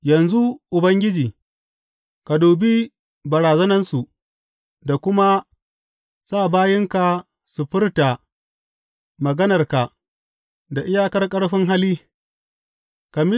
Yanzu, Ubangiji, ka dubi barazanansu ka kuma sa bayinka su furta maganarka da iyakar ƙarfin hali.